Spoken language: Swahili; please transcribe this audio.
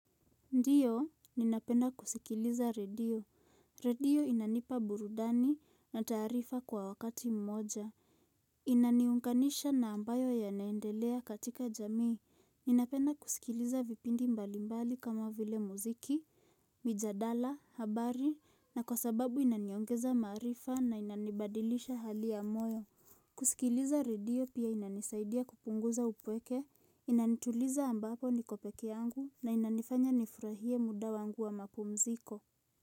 Ndiyo, ninapenda kusikiliza redio. Redio inanipa burudani na taarifa kwa wakati mmoja. Inaniunganisha na ambayo yanaendelea katika jamii. Ninapenda kusikiliza vipindi mbalimbali kama vile muziki, mjadala, habari, na kwa sababu inaniongeza maarifa na inanibadilisha hali ya moyo. Kusikiliza redio pia inanisaidia kupunguza upweke. Inanituliza ambapo niko pekee yangu na inanifanya nifurahie muda wangu wa mapumziko.